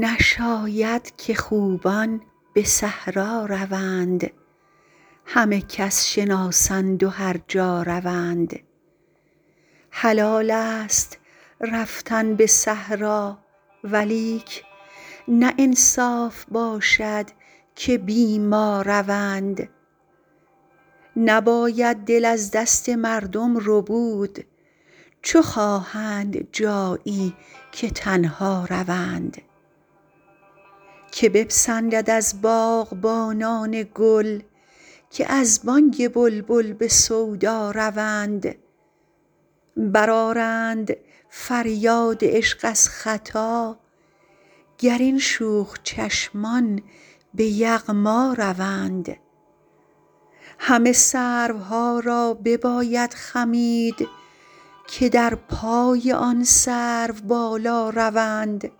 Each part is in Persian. نشاید که خوبان به صحرا روند همه کس شناسند و هر جا روند حلالست رفتن به صحرا ولیک نه انصاف باشد که بی ما روند نباید دل از دست مردم ربود چو خواهند جایی که تنها روند که بپسندد از باغبانان گل که از بانگ بلبل به سودا روند برآرند فریاد عشق از ختا گر این شوخ چشمان به یغما روند همه سروها را بباید خمید که در پای آن سروبالا روند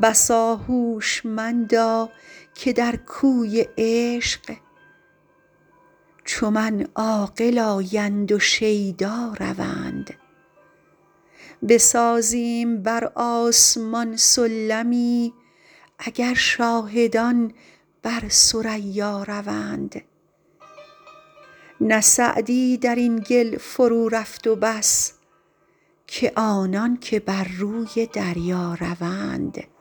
بسا هوشمندا که در کوی عشق چو من عاقل آیند و شیدا روند بسازیم بر آسمان سلمی اگر شاهدان بر ثریا روند نه سعدی در این گل فرورفت و بس که آنان که بر روی دریا روند